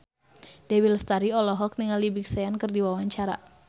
Dewi Lestari olohok ningali Big Sean keur diwawancara